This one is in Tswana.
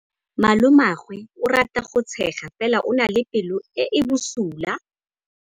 Malomagwe o rata go tshega fela o na le pelo e e bosula.